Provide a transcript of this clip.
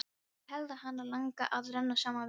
Ég held að hana langi að renna saman við sjóinn.